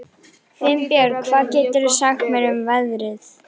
Finnbjörk, hvað geturðu sagt mér um veðrið?